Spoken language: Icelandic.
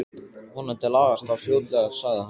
Vonandi lagast það fljótlega sagði hann.